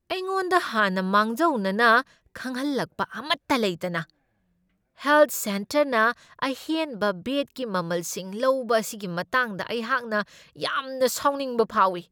ꯑꯩꯉꯣꯟꯗ ꯍꯥꯟꯅ ꯃꯥꯡꯖꯧꯅꯅ ꯈꯪꯍꯜꯂꯛꯄ ꯑꯃꯠꯇ ꯂꯩꯇꯅ ꯍꯦꯜꯊ ꯁꯦꯟꯇꯔꯅ ꯑꯍꯦꯟꯕ ꯕꯦꯗꯀꯤ ꯃꯃꯜꯁꯤꯡ ꯂꯧꯕ ꯑꯁꯤꯒꯤ ꯃꯇꯥꯡꯗ ꯑꯩꯍꯥꯛꯅ ꯌꯥꯝꯅ ꯁꯥꯎꯅꯤꯡꯕ ꯐꯥꯎꯢ ꯫